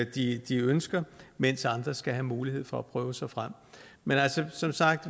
de de ønsker mens andre skal have mulighed for at prøve sig frem som sagt